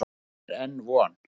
Þó er enn von.